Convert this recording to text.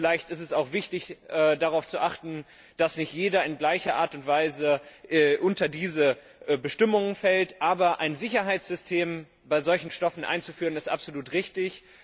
Vielleicht ist es auch wichtig, darauf zu achten, dass nicht jeder in gleicher Art und Weise unter diese Bestimmungen fällt, aber ein Sicherheitssystem bei solchen Stoffen einzuführen, ist absolut richtig